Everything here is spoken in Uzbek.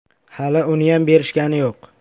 Hali uniyam berishgani yo‘q.